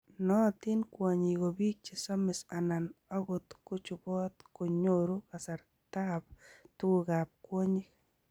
Naatin Kwonyik kobiik che samis anan angot chubot ya nyoru kasartab tuguk ab kwonyik